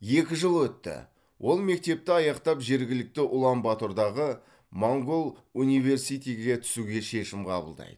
екі жыл өтті ол мектепті аяқтап жергілікті улан батордағы монғол университиге түсуге шешім қабылдайды